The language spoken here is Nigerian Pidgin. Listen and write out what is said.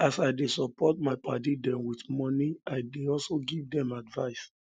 as i dey support my paddy dem wit moni i dey also give dem advice